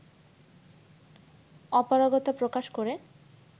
অপারগতা প্রকাশ করে